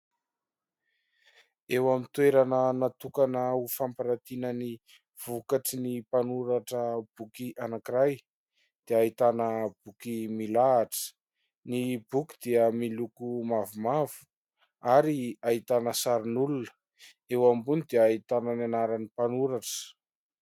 Eo amin'ny toerana natokana ho fampiratina ny vokatry ny mpanoratra boky anankiray dia ahitana boky milahatra. Ny boky dia miloko mavomavo ary ahitana sarin'olona eo ambony dia ahitana ny anaran'ny mpanoratra.